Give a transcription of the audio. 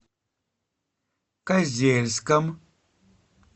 козельском